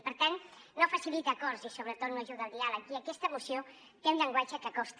i per tant no facilita acords i sobretot no ajuda al diàleg i aquesta moció té un llenguatge que costa